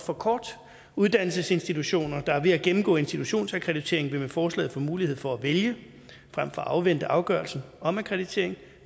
for kort uddannelsesinstitutioner der er ved at gennemgå institutionsakkreditering vil med forslaget få mulighed for at vælge frem for at afvente afgørelsen om akkreditering